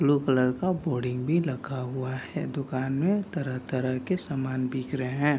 Blue colour का boarding भी लगा हुआ है दुकान में तरह-तरह के समान बिक रहे हैं।